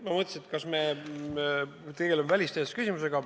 Ma mõtlesin, kas me ikka tegeleme välisteenistuse küsimusega.